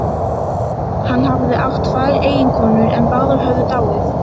Hann hafði átt tvær eiginkonur en báðar höfðu dáið.